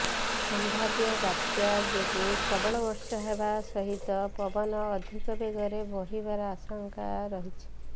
ସମ୍ଭାବ୍ୟ ବାତ୍ୟା ଯୋଗୁଁ ପ୍ରବଳ ବର୍ଷା ହେବା ସହିତ ପବନ ଅଧିକ ବେଗରେ ବହିବାର ଆଶଙ୍କା ରହିଛି